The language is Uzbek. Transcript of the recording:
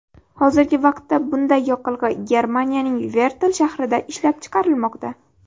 Hozirgi vaqtda bunday yoqilg‘i Germaniyaning Vertl shahrida ishlab chiqarilmoqda.